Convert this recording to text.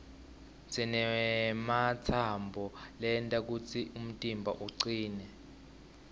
sinematsambo lenta kutsi umtimba ucine